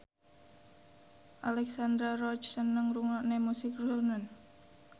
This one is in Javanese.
Alexandra Roach seneng ngrungokne musik srunen